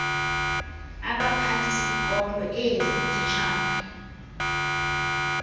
abaphathisikolo ee zititshala